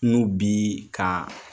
N'u bi kaa